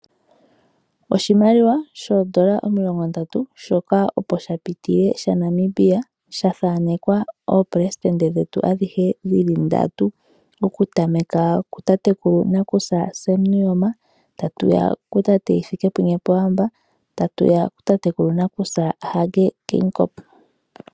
Oshimaliwa shoondola omilongo ndatu shoka opo sha pitile shaNamibia, sha thanekwa oopelesidente dhetu adhihe dhili ndatu, okutameka kutatekulu nakusa Sam Nuuyoma, tatu ya kutate Hifikepunye Pohamba, tatu ya kutatekulu nakusa Hage Geingob.